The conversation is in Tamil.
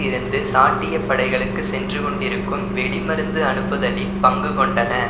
இருந்து சாட்டிய படைகளுக்கு சென்று கொண்டிருக்கும் வெடிமருந்து அனுப்புதலின் பங்கு கொண்டன